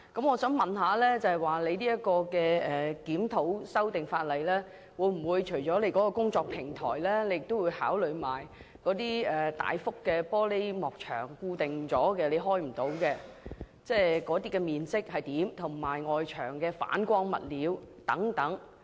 我想請問副局長，這次檢討修訂的法例，除了工作平台外，會否一併考慮那些固定的、不能開啟的大幅玻璃幕牆，以及外牆反光物料等？